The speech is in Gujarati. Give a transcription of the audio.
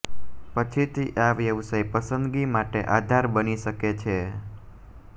પછીથી આ વ્યવસાય પસંદગી માટે આધાર બની શકે છે